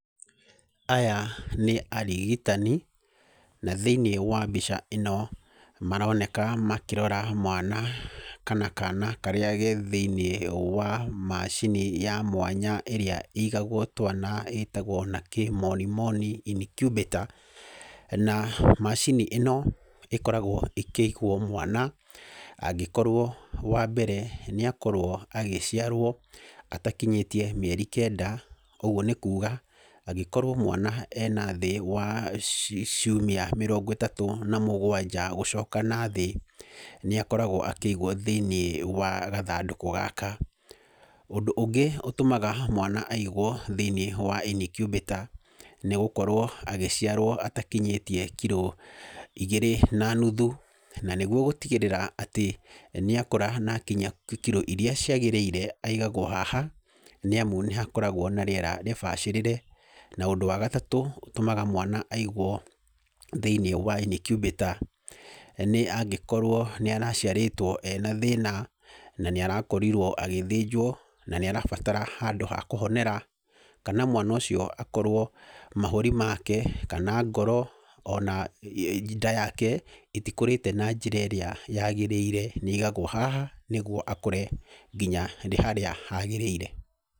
Aya nĩ arigitani, na thĩinĩ wa mbica ĩno maroneka makĩrora mwana kana kaana karĩa karĩ thĩinĩ wa macini ya mwanya ĩrĩa ĩigagwo twana na ĩtagwo na kĩmonimoni incubator. Na macini ĩno ĩkoragwo ĩkĩigwo mwana angĩkorwo wambere nĩakorwo agĩciarwo atakinyĩtie mĩeri kenda, ũguo nĩ kuga angĩkorwo mwana arĩ na thĩ wa ciumia mĩrongo ĩtatũ na mũgwanja gũcoka nathĩ, nĩakoragwo akĩigwo thĩinĩ wa gathandũkũ gaka. Ũndũ ũngĩ ũtũmaga mwana aigwo thĩinĩ wa incubator nĩgũkorwo agĩciarwo atakinyĩtie kiro igĩrĩ na nuthu na nĩguo gũtigĩrĩra nĩ akũra na akinyia kiro iria ciagĩrĩire, aigagwo haha nĩamu nĩhakoragwo na rĩera rĩbacĩrĩre. Na ũndũ wagatatũ ũrĩa ũtũmaga mwana aigwo thĩinĩ wa incubator nĩangĩkorwo nĩ araciarĩtwo ena thĩna na nĩarakorirwo agĩthĩnjwo na nĩarabatara handũ ha kũhonera, kana mwana ũcio akorwo mahũri make, kana ngoro, kana nda yake itikũrĩte na njĩra ĩrĩa yagĩrĩire nĩaigagwo haha akũre nginya harĩa hagĩrĩire.